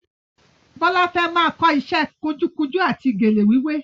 Bọ́lá fẹ́ máa kọ ìṣe kunjúkunjú àti gèlè wíwé